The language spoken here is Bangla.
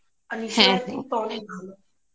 আর acting তো অনেক ভালো